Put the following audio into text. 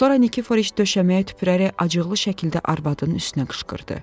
Sonra Nikiforiş döşəməyə tüpürərək acıqlı şəkildə arvadının üstünə qışqırdı.